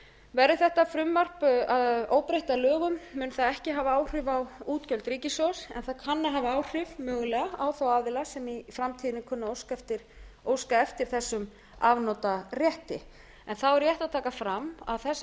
verði þetta frumvarp óbreytt að lögum mun það ekki hafa áhrif á útgjöld ríkissjóðs en það kann að hafa áhrif mögulega á þá aðila sem í framtíðinni kunna að óska eftir þessum afnotarétti þá er rétt að taka fram að þessar